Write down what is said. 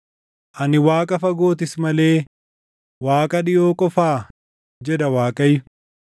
“Ani Waaqa fagootis malee Waaqa dhiʼoo qofaa?” jedha Waaqayyo.